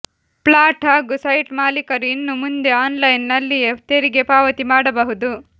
flat ಹಾಗೂ site ಮಾಲೀಕರು ಇನ್ನು ಮುಂದೆ ಆನ್ ಲೈನ್ ನಲ್ಲಿಯೇ ತೆರಿಗೆ ಪಾವತಿ ಮಾಡಬಹುದು